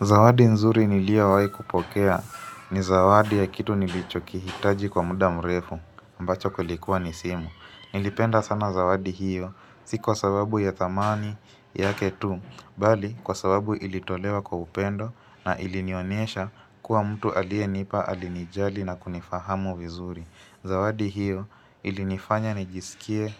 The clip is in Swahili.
Zawadi nzuri niliowahi kupokea ni zawadi ya kitu nilichokihitaji kwa muda mrefu ambacho kulikuwa ni simu. Nilipenda sana zawadi hiyo si kwa sababu ya thamani yake tu, bali kwa sababu ilitolewa kwa upendo na ilinionesha kuwa mtu alienipa alinijali na kunifahamu vizuri. Zawadi hiyo ilinifanya nijisikie